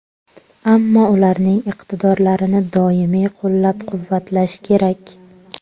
Ammo ularning iqtidorlarini doimiy qo‘llab-quvvatlash kerak.